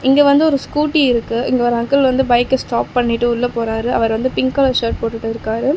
இங்க வந்து ஒரு ஸ்கூட்டி இருக்கு இங்க ஒரு அங்கிள் வந்து பைக்க ஸ்டாப் பண்ணிட்டு உள்ள போறாரு அவர் வந்து பிங்க் கலர் ஷர்ட் போட்டுட்டு இருக்காரு.